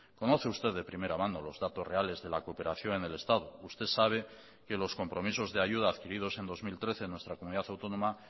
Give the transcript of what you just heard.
conoce usted de primera mano los datos reales de la cooperación en el estado usted sabe que los compromisos de ayuda adquiridos en dos mil trece en nuestra comunidad autónoma